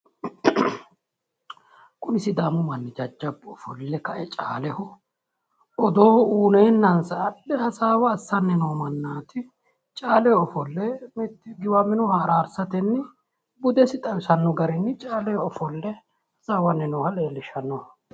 kunni sidaamu manni jajabu ofoole kae caleeho oodo uyineesa hasaawa asanni oodo uyineenasa hasaawa assani buudesi leelishano garri giwaminoha arrsanii noo mannatti